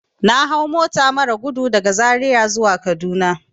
Na hau mota marar gudu daga zaria zuwa kaduna.